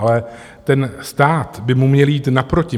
Ale ten stát by mu měl jít naproti.